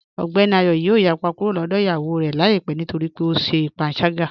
Ogbẹ́ni Ayọ̀ yoo yàpá kúrò lọ́dọ̀ iyáwó rẹ laipẹ̀ nítorí pé ọ ṣè pànságá